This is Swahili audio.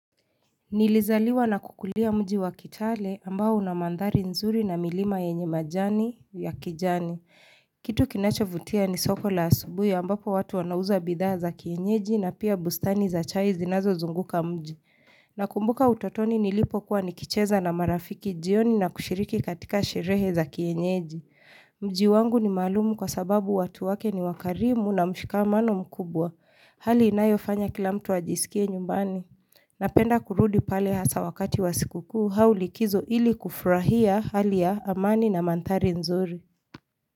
Nilizaliwa na kukulia mji wa kitale ambao una mandhari nzuri na milima yenye majani ya kijani. Kitu kinachovutia ni soko la asubuhi ambapo watu wanauza bidhaa za kienyeji na pia bustani za chai zinazozunguka mji. Nakumbuka utotoni nilipokuwa nikicheza na marafiki jioni na kushiriki katika sherehe za kienyeji. Mji wangu ni malumu kwa sababu watu wake ni wakarimu na mshikamano mkubwa. Hali inayofanya kila mtu ajisikie nyumbani. Napenda kurudi pale hasa wakati wa siku kuu au likizo ili kufurahia hali ya amani na mandhari nzuri.